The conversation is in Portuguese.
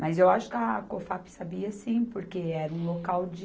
Mas eu acho que a Cofap sabia sim, porque era um local de...